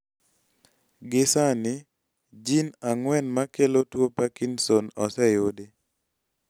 gi sani, jin ang'uen makelo tuo Parkinson oseyudi